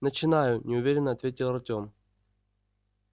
начинаю неуверенно ответил артём